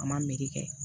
A ma meri kɛ